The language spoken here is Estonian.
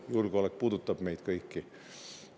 Julgeolek puudutab meid kõiki.